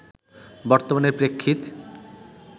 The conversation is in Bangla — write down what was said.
বর্তমানে প্রেক্ষিত